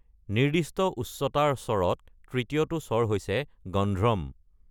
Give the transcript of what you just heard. নিৰ্দিষ্ট উচ্চতাৰ স্বৰত তৃতীয়টো স্বৰ হৈছে গন্ধ্ৰম।